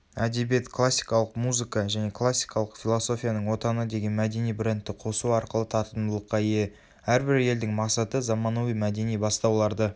әдебиет классикалық музыка және классикалық философияның отаны деген мәдени брендті қосу арқылы тартымдылыққа ие.әрбір елдің мақсаты заманауи мәдени бастауларды